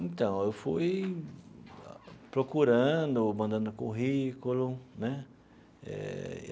Então, eu fui procurando, mandando currículo, né? Eh.